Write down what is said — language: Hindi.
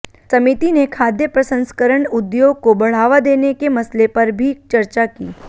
समिति ने खाद्य प्रसंस्करण उद्योग को बढ़ावा देने के मसले पर भी चर्चा की